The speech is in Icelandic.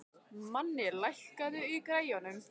Manni, lækkaðu í græjunum.